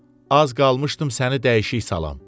Az qalmışdım səni dəyişik salam.